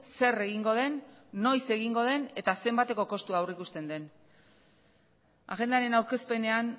zer egingo den noiz egingo den eta zenbateko kostua aurreikusten den agendaren aurkezpenean